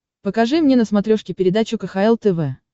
покажи мне на смотрешке передачу кхл тв